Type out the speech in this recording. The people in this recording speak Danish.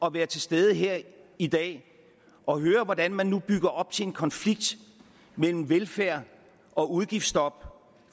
at være til stede her i dag og høre hvordan man nu bygger op til en konflikt mellem velfærd og udgiftsstop